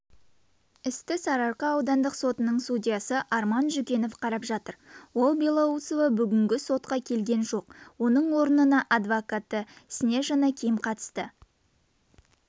істі сарыарқа аудандық сотының судьясы арман жүкенов қарап жатыр ал белоусова бүгінгі сотқа келген жоқ оның орнына адвокаты снежана ким қатысты